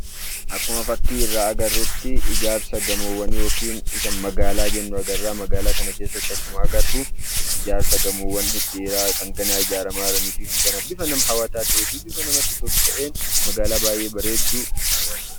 Akkuma fakkii irraa agarrutti ijaarsa gamoowwanii yookiin isa magaalaa jennu agarra. Magaalaa kana keessatti akkuma agarru, ijaarsa gamoowwan dhedheeraa kan ijaaramaa jiranii fi kan bifa namatti toluu fi bifa hawwataa ta'een magaalaa bareedduu agarra.